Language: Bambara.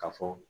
Ka fɔ